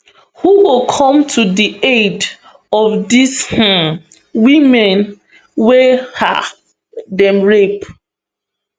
who go come to di aid of dis um women wey um dem rape